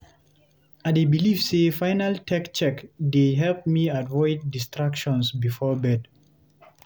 I dey believe say final tech check dey help me avoid distractions before bed.